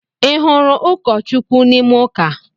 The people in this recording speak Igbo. Ị hụ̣rụ̣ ụkọ Chukwu n’ime ụka?